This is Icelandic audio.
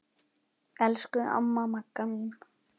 Elsku amma Magga mín.